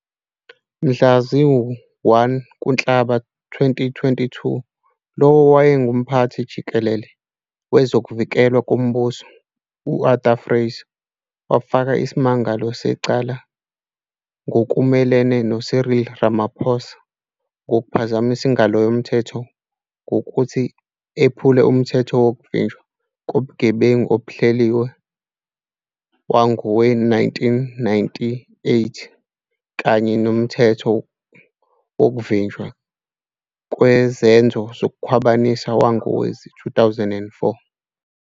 Mhla zilu-1 kuNhlaba 2022, lowo oyengumphathi-jikelele wezokuVikelwa komBuso, uArthur Fraser, wafaka isimangalo secala ngokumelene no-Cyril Ramaphosa ngokuphazamisa ingalo yomthetho ngokuthi ephule UMthetho wokuvinjwa kobuGebengu obuhleliwe wangowe-1998, kanye nomthetho wokuvinjwa kwezenzo zokukhwabanisa wongowezi-2004.